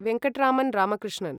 Venkataraman Ramakrishnan